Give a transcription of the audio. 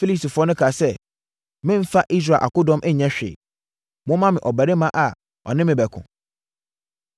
Filistini no kaa sɛ, “Memmfa Israel akodɔm nyɛ hwee. Momma me ɔbarima a ɔne me bɛko.”